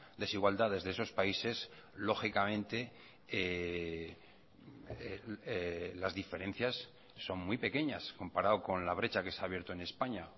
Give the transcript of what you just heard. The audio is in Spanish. desigualdades de esos países lógicamente las diferencias son muy pequeñas comparado con la brecha que se ha abierto en españa